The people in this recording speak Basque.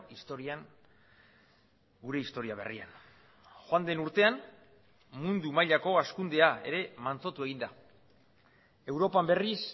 historian gure historia berrian joan den urtean mundu mailako hazkundea ere mantsotu egin da europan berriz